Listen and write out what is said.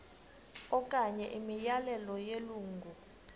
okanye imiyalelo yelungu